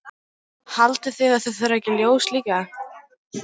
Haldið þið að það þurfi ekki ljós líka?